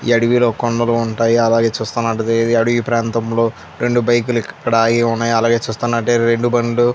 అడివిలో కొండలు ఉంటాయి. అలాగే చూస్తున్నట్లైతే ఈ అడివి ప్రాంతంలో రెండు బైక్ లు ఇక్కడ ఆగివున్నాయ్. అలాగే చూస్తున్నట్లైతే రెండు బండ్లు --